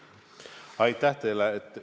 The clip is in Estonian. Aitäh teile!